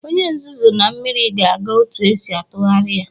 Onye nzuzu na mmiri ga-aga otu esi atụgharị ya.